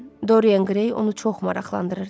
Dorien Qrey onu çox maraqlandırırdı.